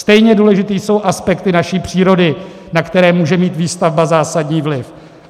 Stejně důležité jsou aspekty naší přírody, na které může mít výstavba zásadní vliv.